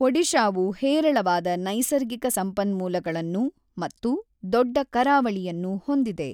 ಒಡಿಶಾವು ಹೇರಳವಾದ ನೈಸರ್ಗಿಕ ಸಂಪನ್ಮೂಲಗಳನ್ನು ಮತ್ತು ದೊಡ್ಡ ಕರಾವಳಿಯನ್ನು ಹೊಂದಿದೆ.